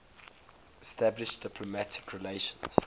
establishing diplomatic relations